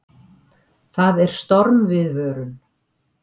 Það er stormviðvörun.